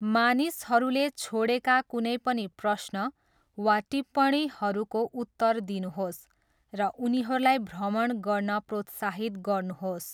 मानिसहरूले छोडेका कुनै पनि प्रश्न वा टिप्पणीहरूको उत्तर दिनुहोस् र उनीहरूलाई भ्रमण गर्न प्रोत्साहित गर्नुहोस्।